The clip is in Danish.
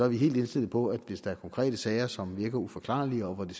vi helt indstillet på at hvis der er konkrete sager som virker uforklarlige og hvor det